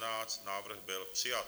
Návrh byl přijat.